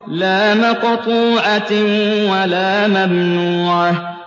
لَّا مَقْطُوعَةٍ وَلَا مَمْنُوعَةٍ